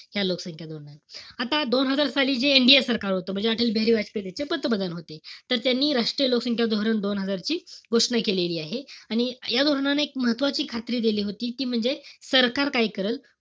या लोकसंख्या धोरणात. आता दोन हजार साली जे NDA सरकार होतं. म्हणजे अटलबिहारी वाजपेयी त्याचे पंतप्रधान होते. तर त्यांनी राष्ट्रीय लोकसंख्या धोरण दोन हजारची घोषणा केलेली आहे. आणि या धोरणाने एक महत्वाची खात्री दिली होती ती म्हणजे सरकार काय करल,